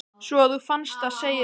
Svo að þú fannst það, segirðu?